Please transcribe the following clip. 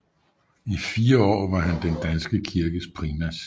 I fire år var han den danske kirkes primas